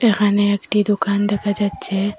এখানে একটি দোকান দেখা যাচ্ছে।